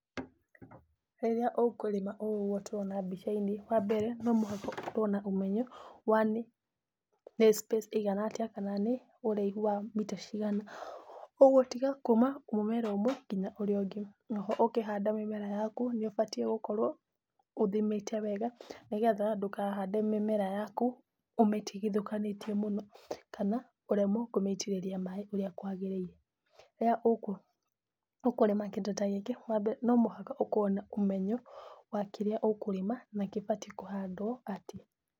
Rĩrĩa ũkũrĩma ũũ tũrona mbicainĩ, wa mbere no mũhaka ũkorwo na ũmenyo wa space ĩigana atĩa kana nĩ ũraihu wa mita cigana, kwoguo kuuma mũmera ũmwe nginya mũmera ũrĩa ũngĩ, oho ũngĩhanda mĩmera yaku nĩũbatie gũkorwo ũthimĩte wega nĩgetha ndũkahande mĩmera yaku ũmĩtigũkanĩtie mũno kana ũremwo kũmĩitĩrĩria maĩ ũrĩa kwagĩrĩire, rĩrĩa ũkũrĩma kĩndũ ta gĩkĩ nomũhaka ũkorwe na ũmenyo wa kĩrĩa ũkũrĩma na kĩbatie kũhandwo.